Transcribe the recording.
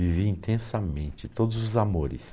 Viveu intensamente todos os amores.